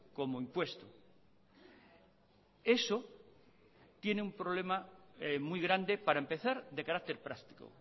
como impuesto eso tiene un problema muy grande para empezar de carácter práctico